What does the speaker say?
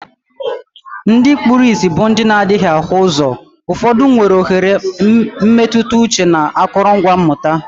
Ndị kpuru ìsì bụ ndị na adighi ahu uzo, ụfọdụ nwere oghere mmetụta uche na akụrụngwa mmụta.